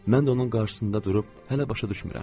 Mən də onun qarşısında durub hələ başa düşmürəm.